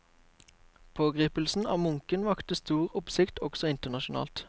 Pågripelsen av munken vakte stor oppsikt også internasjonalt.